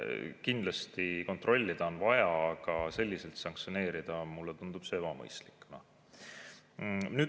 Kindlasti on kontrollida vaja, aga selliselt sanktsioneerida – mulle tundub see ebamõistlik.